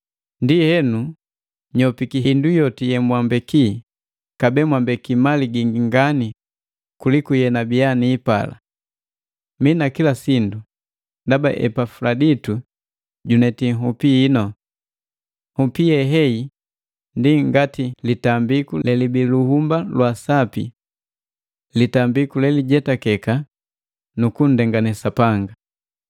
Ndienu, nyopiki hindu yoti yemwambeki, kabee mwambeki mali gingi ngani kuliku yenabiya niipala. Mina kila sindu ndaba Epafuladitu juneti nhupi hinu. Nhupi ye heyi ndi ngati litambiku lelibii luhumba lwa asapi, litambiku lelijetakeka nukundengane Sapanga.